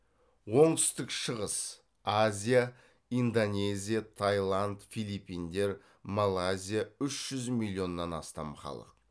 оңтүстік шығыс азия индонезия тайланд филиппиндер малайзия үшжү миллионнан астам халық